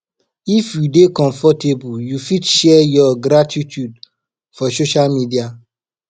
if you dey comfortable you fit share your gratitude for social media